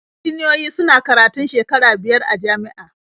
Injiniyoyi suna karatun shekaru biyar a jami'a.